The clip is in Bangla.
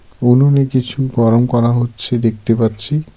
উনুনে কিছু গরম করা হচ্ছে দেখতে পাচ্ছি।